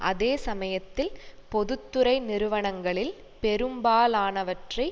அதே சமயத்தில் பொது துறை நிறுவனங்களில் பெரும்பாலானவற்றை